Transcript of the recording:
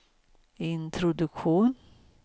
introduktion